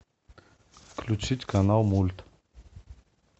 включить канал мульт